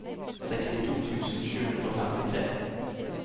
sekstito tusen sju hundre og femtitre